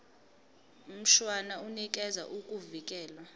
mshwana unikeza ukuvikelwa